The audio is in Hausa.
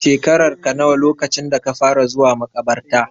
Shekararka nawa lokacin da ka fara zuwa maƙabarta?